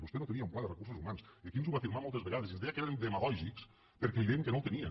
vostè no tenia un pla de recursos humans i aquí ens ho va afirmar moltes vegades i ens deia que érem demagògics perquè li dèiem que no el tenia